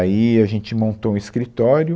Aí a gente montou um escritório.